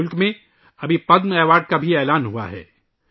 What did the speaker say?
ملک میں پدم ایوارڈ کا بھی اعلان کیا گیا ہے